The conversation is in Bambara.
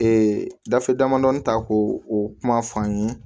Ee gafe damadɔnin ta ko o kuma f'an ye